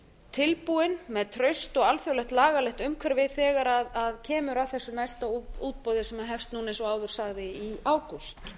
tilbúin með traust og alþjóðlegt lagaumhverfi þegar kemur að þessu næsta útboði sem hefst núna eins og áður sagði í ágúst